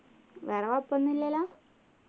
വേറെ കൊഴപ്പോന്നും ഇല്ലല്ലോ